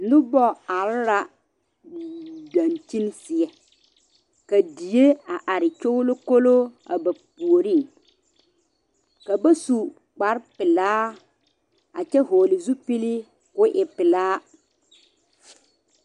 Noba are la dankyene seɛ ka die are nyolokolo a ba puoriŋ ka ba su kpaare pɛle vɔle zupele koo e pɛle .